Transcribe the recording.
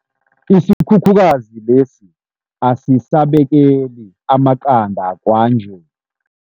Isikhukhukazi lesi asisabekeli amaqanda kwanje.